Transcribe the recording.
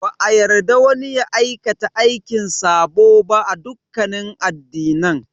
Ba a yarda wani ya aikata aikin sabo ba a dukkanin addinan.